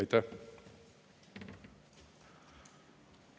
Aitäh!